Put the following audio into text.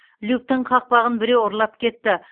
люктің қақпағын біреу ұрлап кетті